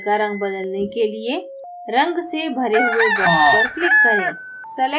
labels का रंग बदलने के लिए रंग से भरे हुए box पर click करें